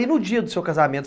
E no dia do seu casamento?